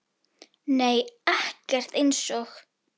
Nei ekkert eins og